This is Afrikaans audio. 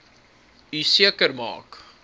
u seker maak